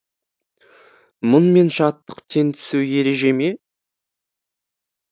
мұң мен шаттық тең түсу ереже ме